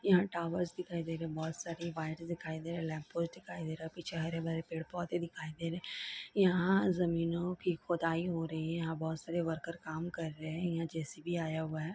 '' यहा टॉवर्स दिखाई दे रहे है बहोत सारी वायर दिखाई दे रहे है दिखाई दे रहे है पीछे हरे भरे पेड़ पौधे दिखाई दे रहे है यहाँ जमीनों की खुदाई हो रही है यहा बहोत सारे वर्कर काम कर रहे है जे_सी_बी आया हुआ है। ''